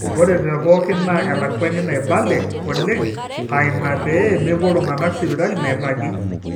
ore tepooki naa elakuani naibale oleng aa ina pee mepuo iltung'anak sipitali nairagi